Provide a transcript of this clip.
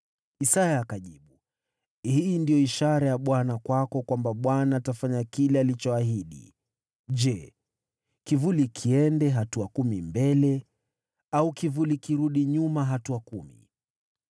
Isaya akajibu, “Hii ndiyo ishara ya Bwana kwako kwamba Bwana atafanya kile alichoahidi: Je, kivuli kiende hatua kumi mbele, au kivuli kirudi nyuma hatua kumi?”